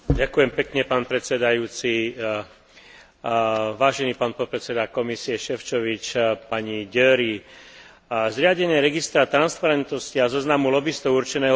Zriadenie registra transparentnosti a zoznamu lobistov určeného pre organizácie a samostatne činné fyzické osoby, ktoré sa podieľajú na tvorbe a vykonávaní politiky Európskej únie, vítam